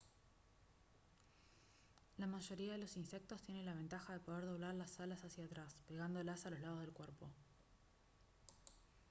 la mayoría de los insectos tiene la ventaja de poder doblar las alas hacia atrás pegándolas a los lados del cuerpo